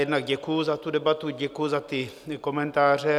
Jednak děkuji za tu debatu, děkuji za ty komentáře.